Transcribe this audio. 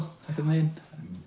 einhvern veginn